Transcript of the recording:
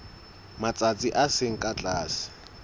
matsatsi a seng ka tlase